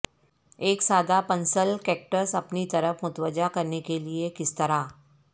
ایک سادہ pencil cactus اپنی طرف متوجہ کرنے کے لئے کس طرح